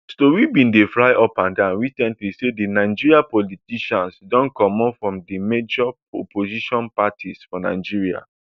tori bin dey fly upandan recently say di nigerian politician don comot from di major opposition parties for nigeria